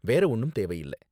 வேற ஒண்ணும் தேவையில்ல.